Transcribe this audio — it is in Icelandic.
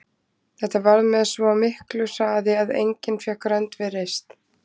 Þetta varð með svo miklu hraði að enginn fékk rönd við reist.